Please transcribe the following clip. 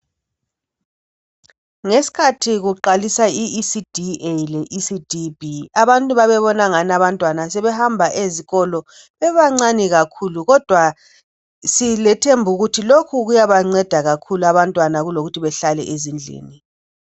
ngesikhathi kuqalisa i ECD A le ECD B abantu babebona engani abantwana sebehamba ezikolo bebancane kakhulu kodwa silethemba lokuthi lokhu kuyabanceda kakhulu abantwana kulokuthi balale ezindlini